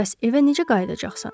Bəs evə necə qayıdacaxsan?